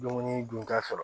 Dumuni dun ka sɔrɔ